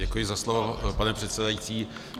Děkuji za slovo, pane předsedající.